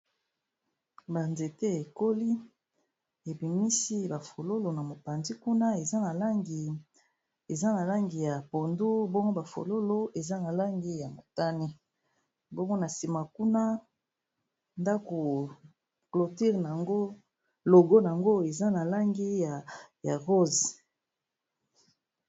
Banzete ekoli, ebimisi ba fololo na mopanzi kuna eza na langi ya pondu bongo ba fololo eza na langi ya motane, bongo na sima kuna ndako cloture logo yango eza na langi ya rose.